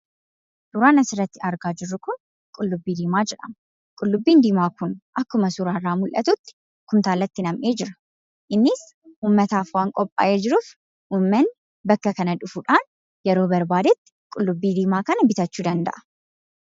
Suuraan asirratti argaa jirru kun qullubbii diimaa jedhama. Qullubbiin diimaa kun akkuma suuraa irraa mul'atutti kuntaalatti nammee jira. Innis ummataaf waan qophaa'ee jiruuf, ummanni bakka kana dhufuudhaan yeroo barbaadetti qullubbii diimaa kana bitachuu danda'a.